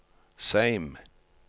Seim